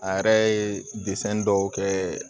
A yɛrɛ ye dɔw kɛ